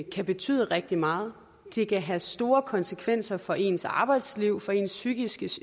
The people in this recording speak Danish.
kan betyde rigtig meget det kan have store konsekvenser for ens arbejdsliv for ens psykiske